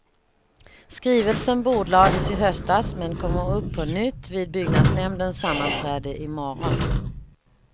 Skrivelsen bordlades i höstas, men kommer upp på nytt vid byggnadsnämndens sammanträde i morgon.